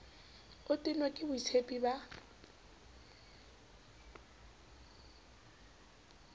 o tennwe ke boitshepi ba